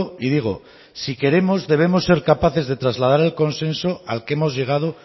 y digo si queremos debemos ser capaces de trasladar el consenso al que hemos llegado